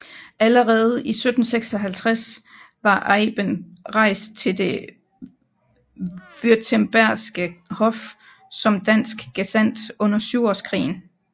Allerede 1756 var Eyben rejst til det württembergske hof som dansk gesandt under Syvårskrigen